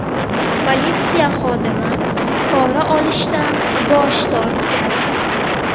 Politsiya xodimi pora olishdan bosh tortgan.